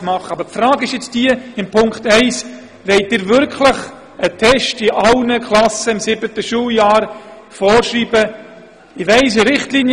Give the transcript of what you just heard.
Aber die Frage ist, ob Sie mit dem Punkt 1 wirklich allen Klassen einen Test im siebten Schuljahr vorschreiben wollen.